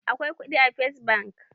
Akwai kuɗi a first bank?